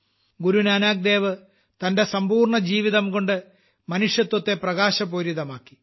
ഗുരു നാനാക്ക് ദേവ് തന്റെ സമ്പൂർണ്ണ ജീവിതംകൊണ്ട് മനുഷ്യത്വത്തെ പ്രകാശപൂരിതമാക്കി